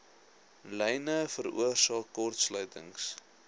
lyne veroorsaak kortsluitings